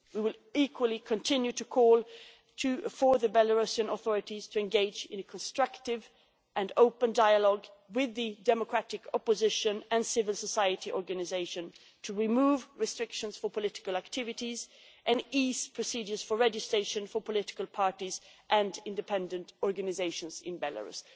We will, equally, continue to call for the Belarusian authorities to engage in constructive and open dialogue with the democratic opposition and civil society organisations to remove restrictions for political activities and ease procedures for registration for political parties and independent organisations in Belarus.